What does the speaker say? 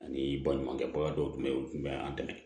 Ani baɲumankɛ baga dɔw tun bɛ yen u tun bɛ an dɛmɛ